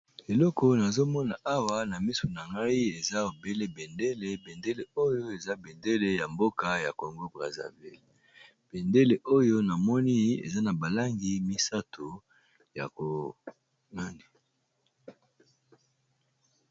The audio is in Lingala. Eleko nazo mona awa na misu na ngai eza obele bendele, bendele oyo eza bendele ya mboka ya Congo Brazzaville. Bendele oyo na moni eza na ba langi misato, ya ko nani...